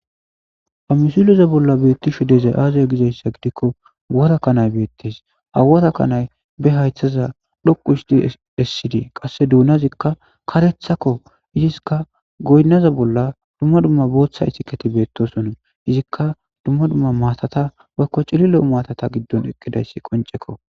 Ha misile bolloa beeththishe dizay aazee dizeyssa gidikko worakanay beeththees; ha worakanay be hayththaza dhoqu ooththizi essizi qassi doonazikka kareththakko; iskka goynaza bolla dumma dumma isikethi beeththoosona; izikka dumma dumma maatha bakka cililo maathatha giddon eqqidaysi qonccekoo.